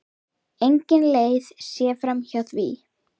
Engin leið sé framhjá því.